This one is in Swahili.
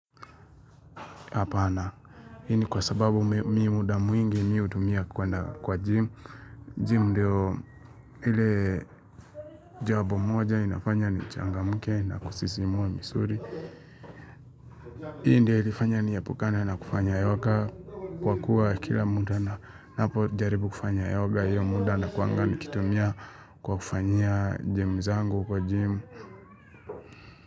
Hapana. Hini kwa sababu mi muda mwingi mi hutumia kwenda kwa jim. Gym ndio ile jambo moja inafanya nichangamuke na kusisimua misuri. Hii ndio ilifanya niepukane na kufanya yoga. Kwa kuwa kila muda ninapo jaribu kufanya yoga. Hiyo muda nakuangani kitumia kwa kufanya gym zangu kwa gym.